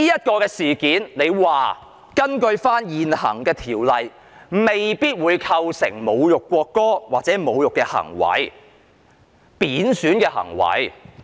局長說，根據現行法例，這事件未必構成侮辱國歌或貶損行為。